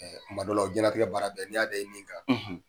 Kuma dɔ la o ye diɲɛ latigɛ baara bɛɛ, n'i y'a da i ni kan.